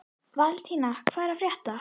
Valentína, hvað er að frétta?